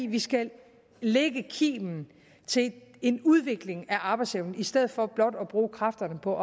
vi skal lægge kimen til en udvikling af arbejdsevnen i stedet for blot at bruge kræfterne på